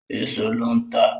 Èèso ló ń tà